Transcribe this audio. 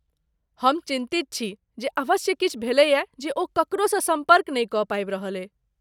हम चिन्तित छी जे अवश्य किछु भेलैए जे ओ ककरोसँ सम्पर्क नहि कऽ पाबि रहलैए।